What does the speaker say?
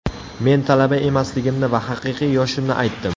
Men talaba emasligimni va haqiqiy yoshimni aytdim.